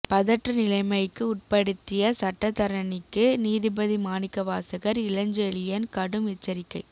பதற்ற நிலைமைக்கு உட்படுத்திய சட்டத்தரணிக்கு நீதிபதி மாணிக்கவாசகர் இளஞ்செழியன் கடும் எச்சரிக்கை